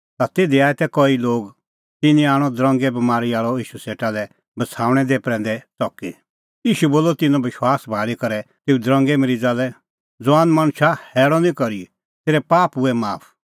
ता तिधी आऐ कई लोग तिन्नैं आणअ दरंगे बमारी आल़अ ईशू सेटा लै बछ़ाऊणैं प्रैंदै च़की ईशू बोलअ तिन्नों विश्वास भाल़ी करै तेऊ दरंगे मरीज़ा लै ज़ुआन मणछा हैल़अ निं करी तेरै पाप हुऐ माफ